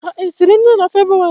Ha esiri nri na febwarị?